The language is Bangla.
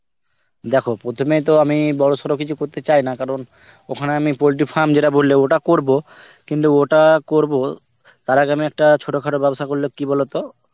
দেখো প্রথমেই তো আমি বড়সড়ো কিছু করতে চাই না কারণ ওখানে আমি poultry farm যেটা বললে, ওটা করব, কিন্তু ওটা করব তার আগে আমি একটা ছোটখাটো ব্যবসা করলে কি বলতো